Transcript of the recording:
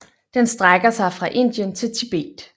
Den strækker sig fra Indien til Tibet